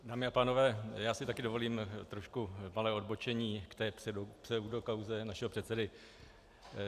Dámy a pánové, já si taky dovolím trošku malé odbočení k té pseudokauze našeho předsedy.